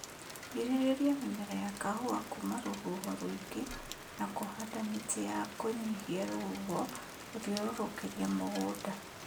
Girĩrĩria mĩmera ya kahũa kuma rũhuho rũingĩ na kũhanda mĩti ya kũnyihia rũhuho gũthiũrũrũkĩria mũgũnda